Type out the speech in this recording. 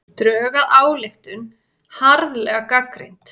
Drög að ályktun harðlega gagnrýnd